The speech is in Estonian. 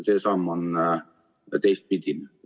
See samm on teises suunas.